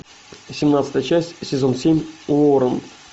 семнадцатая часть сезон семь уоррен